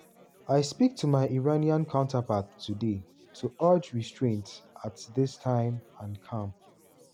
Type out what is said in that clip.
"i speak to my iranian counterpart today to urge restraint at dis time and calm.